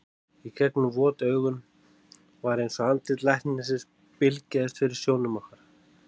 Í gegnum vot augun var eins og andlit læknisins bylgjaðist fyrir sjónum okkar.